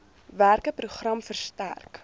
werke program versterk